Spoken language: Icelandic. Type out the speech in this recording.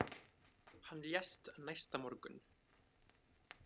Hann lést næsta morgun.